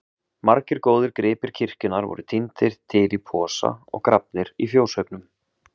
Margir góðir gripir kirkjunnar voru tíndir til í posa og grafnir í fjóshaugnum.